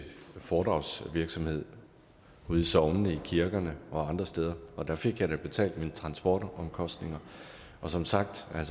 foredragsvirksomhed i sognene i kirkerne og andre steder og der fik jeg da betalt mine transportomkostninger som sagt kan